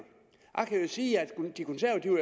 sige at